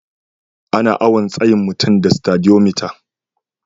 Ana awon tsayin mutum da Stadiyomitar.